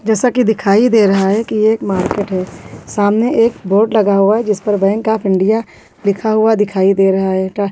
जैसा की दिखाई दे रहा है की यह एक मार्केट है सामने एक बोर्ड लगा हुआ जिस पर बैंक ऑफ इंडिया लिखा हुआ दिखाई दे रहा है --